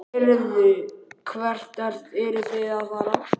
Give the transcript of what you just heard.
Heyrðu, hvert eruð þið að fara?